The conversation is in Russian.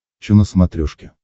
че на смотрешке